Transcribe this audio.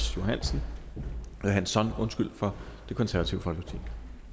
johansson for det konservative folkeparti